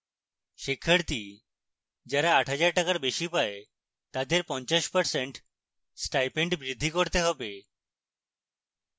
শিক্ষার্থী যারা 8000 টাকার বেশি পায় তাদের 50% stipend বৃদ্ধি দিতে হবে